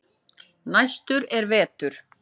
Næstur er Vetur.